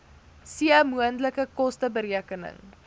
c moontlike kosteberekening